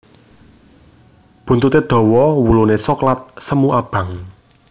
Buntuté dawa wuluné soklat semu abang